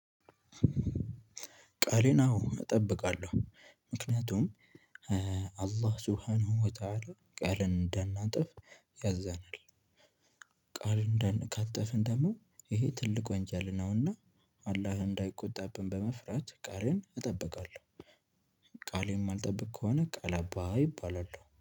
ቃሌን አዎ እጠብቃለሁ ምክንያቱም አላህ ሱሃን ወታለ ቃልን እንደናጥፍ ያዘናል። ቃል ካጠፍን ደግሞ ይሄ ትልቅ ወንጀል ነውና አላህ እንዳይቆጣብን በመፍራት ቃሌን እጠብቃለሁ። ቃሌን እማልጠብቅ ከሆነ ቃል አባይ እባላለሁ